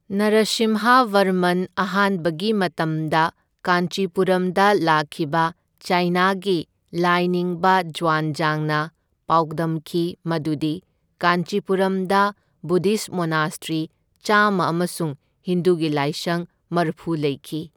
ꯅꯔꯥꯁꯤꯝꯍꯕꯔꯃꯟ ꯑꯍꯥꯟꯕꯒꯤ ꯃꯇꯝꯗ ꯀꯥꯟꯆꯤꯄꯨꯔꯝꯗ ꯂꯥꯛꯈꯤꯕ ꯆꯥꯏꯅꯥꯒꯤ ꯂꯥꯏꯅꯤꯡꯕ ꯖ꯭ꯋꯥꯟꯖꯥꯡꯅ ꯄꯥꯎꯗꯝꯈꯤ ꯃꯗꯨꯗꯤ ꯀꯥꯟꯆꯤꯄꯨꯔꯝꯗ ꯕꯨꯗꯙꯤꯁꯠ ꯃꯣꯅꯥꯁꯇ꯭ꯔꯤ ꯆꯥꯝꯃ ꯑꯃꯁꯨꯡ ꯍꯤꯟꯗꯨꯒꯤ ꯂꯥꯏꯁꯪ ꯃꯔꯐꯨ ꯂꯩꯈꯤ꯫